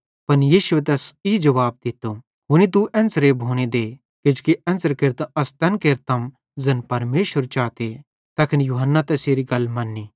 पन यीशुए तैस ई जुवाब दित्तो हुनी तू एन्च़रे भोने दे किजोकि एन्च़रे केरतां अस तैन केरतम ज़ैन परमेशर चाते तैखन यूहन्ना तैसेरी गल मन्नी